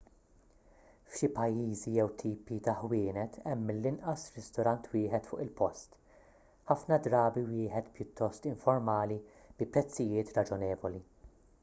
f'xi pajjiżi jew tipi ta' ħwienet hemm mill-inqas ristorant wieħed fuq il-post ħafna drabi wieħed pjuttost informali bi prezzijiet raġonevoli